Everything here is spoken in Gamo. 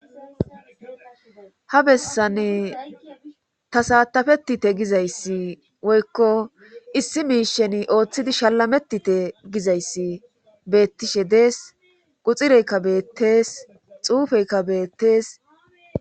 Ha bessan ta saatafetite gizayssi woykko issi miishen ooththidi shalamettite gizayssi beettishe dees quxireykka beettees xuufeykka beettees.